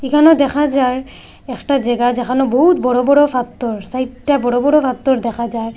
এখানেও দেখা যার একটা জেগা যেখানে বহুৎ বড় বড় ফাথ্থর ছাইরটা বড় বড় ফাথ্থর দেখা যায়।